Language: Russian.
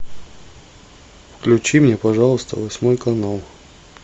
включи мне пожалуйста восьмой канал